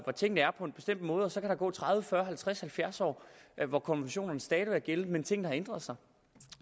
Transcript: tingene er på en bestemt måde og så kan der gå tredive fyrre halvtreds eller halvfjerds år hvor konventionerne stadig er gældende men hvor tingene har ændret sig